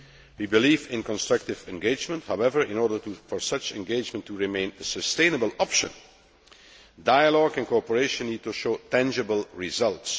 We believe in constructive engagement. However, in order for such engagement to remain a sustainable option, dialogue and cooperation need to show tangible results.